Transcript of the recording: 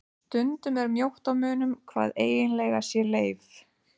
Stundum er mjótt á munum hvað eiginlega sé leif.